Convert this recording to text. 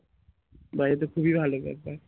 বাহ এতো খুবই ভালোকথা